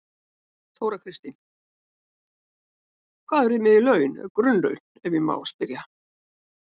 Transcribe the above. Þóra Kristín: Hvað eru þið með í laun, grunnlaun ef ég má spyrja?